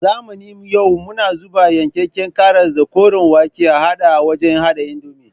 A zamanin yau muna zuba yankakken karas da koren wake a hade a wajen hada indomi